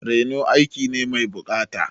Reno aiki ne mai buƙata.